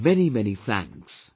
Many, many thanks